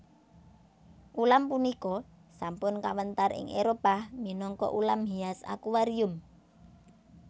Ulam punika sampun kawéntar ing Éropah minangka ulam hias akuarium